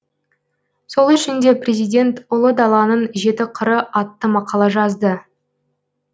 сол үшін де президент ұлы даланың жеті қыры атты мақала жазды